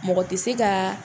Mɔgɔ tɛ se ka.